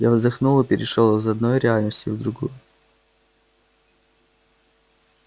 я вздохнул и перешёл из одной реальности в другую